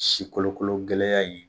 Sikolokolo gɛlɛya in